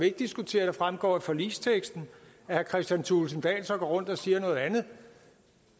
at diskutere det fremgår af forligsteksten at herre kristian thulesen dahl og går rundt og siger noget andet